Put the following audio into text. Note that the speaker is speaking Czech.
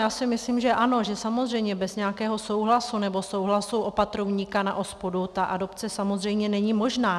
Já si myslím, že ano, že samozřejmě bez nějakého souhlasu nebo souhlasu opatrovníka na OSPODu ta adopce samozřejmě není možná.